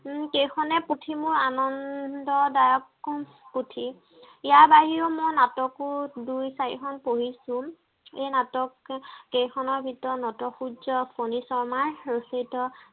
উম ও কেইখনে মোৰ আনন্দ পুথি ইয়াৰ বাহিৰেও মই নাটকো দুই চাৰিখন পঢ়িছো এই নাটক কেইখনৰ ভিতৰত নট সূৰ্য ফনী শৰ্মাৰ ৰচিত